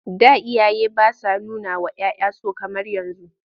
Da iyaye ba sa nunawa 'ya 'ya so kamar yanzu..